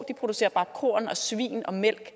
producerer korn og svin og mælk